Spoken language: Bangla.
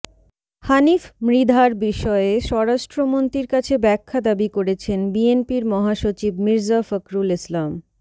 হানিফ মৃধার বিষয়ে স্বরাষ্ট্রমন্ত্রীর কাছে ব্যাখ্যা দাবি করেছেন বিএনপির মহাসচিব মির্জা ফখরুল ইসলাম